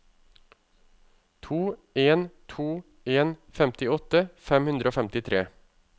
to en to en femtiåtte fem hundre og femtitre